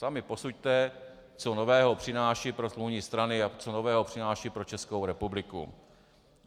Sami posuďte, co nového přináší pro smluvní strany a co nového přináší pro Českou republiku.